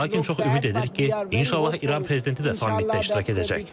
Lakin çox ümid edirik ki, inşallah İran prezidenti də sammitdə iştirak edəcək.